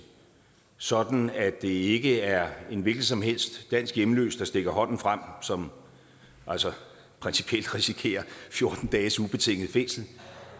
sådan at det ikke er en hvilken som helst dansk hjemløs der stikker hånden frem som altså principielt risikerer fjorten dages ubetinget fængsel